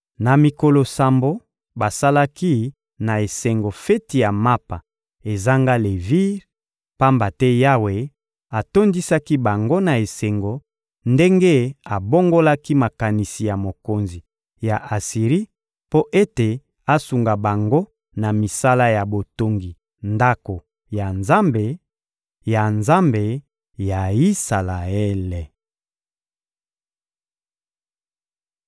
Na mikolo sambo, basalaki na esengo feti ya Mapa ezanga levire, pamba te Yawe atondisaki bango na esengo ndenge abongolaki makanisi ya mokonzi ya Asiri mpo ete asunga bango na misala ya botongi Ndako ya Nzambe, ya Nzambe ya Isalaele.